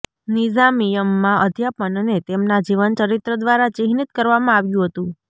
નિઝામિયમાં અધ્યાપનને તેમના જીવનચરિત્ર દ્વારા ચિહ્નિત કરવામાં આવ્યું હતું